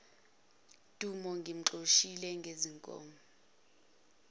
dumo ngimxoshisa ngezinkomo